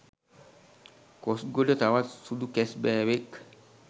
කොස්ගොඩ තවත් සුදු කැස්බෑවෙක්